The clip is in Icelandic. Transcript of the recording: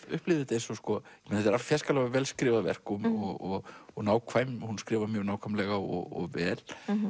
upplifði þetta eins og sko þetta er fjarskalega vel skrifað verk og og og nákvæmt hún skrifar mjög nákvæmlega og vel